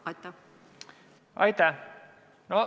Aitäh!